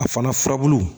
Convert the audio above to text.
A fana furabulu